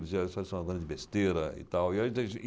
Ele dizia, isso é só uma grande besteira e tal. E eu entendi